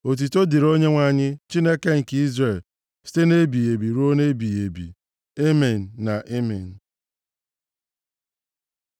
Otuto dịrị Onyenwe anyị, Chineke nke Izrel, site nʼebighị ebi ruo ebighị ebi. Amen na Amen.